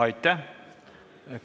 Aitäh!